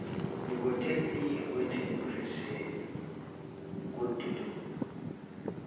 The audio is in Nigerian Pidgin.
you go tell me wetin you feel say e good to do